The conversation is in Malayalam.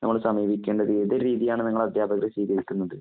നമ്മള് സഹകരിക്കേണ്ടത്. ഏതു രീതിയാണ് നിങ്ങള് അധ്യാപകര് സ്വീകരിക്കുന്നത്.